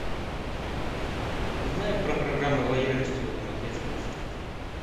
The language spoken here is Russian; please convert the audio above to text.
узнай про программы лояльности в этом отеле